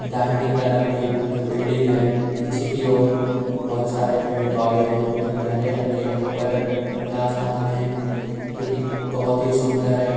दाहिनी तरफ एक बिल्डिंग है। पीछे की ओर बोहोत सारे पेड़-पौधे हैं जो कि हरे रंग के हैं ऊपर नीला आसमान है जो कि बोहोत ही सुंदर है।